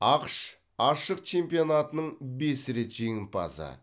ақш ашық чемпионатының бес рет жеңімпазы